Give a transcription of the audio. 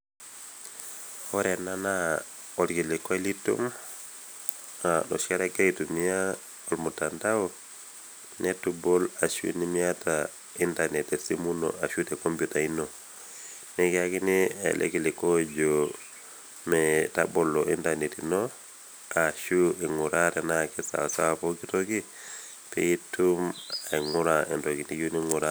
Orena naa olkilikuai litum noshikata igira aitumia olmutandao netubol ashu nimiata intanet tesimu ino ashu tekompyuta ino, nikiakini ele kilikuei ojoo meetabolo  intanet ino aashu ing'uraa tenaake saasawa poki toki piitum aing'ura entoki niyou ning'uraa.